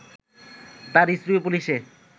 তার স্ত্রীও পুলিশে